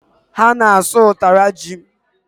Ha na-asụ ụtara ji